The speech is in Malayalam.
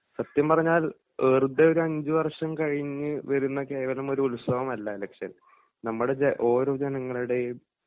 സത്യം പറഞ്ഞാൽ വെറുതെ ഒരഞ്ചു വർഷം കഴിഞ്ഞ് വരുന്ന കേവലമൊരു ഉത്സവമല്ല ഇലക്ഷൻ നമ്മടെ ജ ഓരോ ജനങ്ങളുടെയും